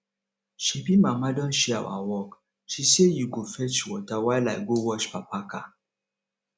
shebi mama don share our work she sey you go fetch water while i go wash papa car